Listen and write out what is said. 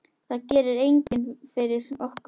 Það gerir enginn fyrir okkur.